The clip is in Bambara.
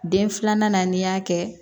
Den filanan n'i y'a kɛ